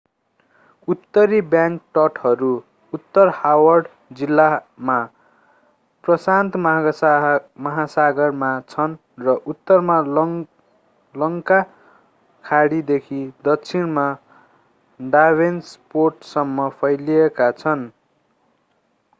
उत्तरी बैंक तटहरू उत्तर हार्बर जिल्लामा प्रशान्त महासागरमा छन् र उत्तरमा लङ्ग खाडीदेखि दक्षिणमा डाभेनपोर्टसम्म फैलिएका छन्।